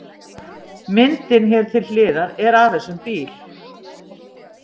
Myndin hér til hliðar er af þessum bíl.